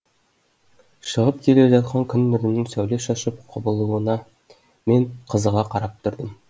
шығып келе жатқан күн нұрының сәуле шашып құбылуына мен қызыға қарап тұрдым